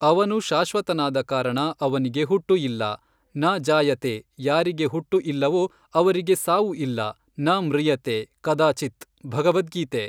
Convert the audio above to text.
ಅವನು ಶಾಶ್ವತನಾದ ಕಾರಣ ಅವನಿಗೆ ಹುಟ್ಟು ಇಲ್ಲ. ನ ಜಾಯತೇ ಯಾರಿಗೆ ಹುಟ್ಟು ಇಲ್ಲವೋ ಅವರಿಗೆ ಸಾವು ಇಲ್ಲ ನ ಮೃಯತೇ ಕದಾಚಿತ್ ಭಗವದ್ಗೀತೆ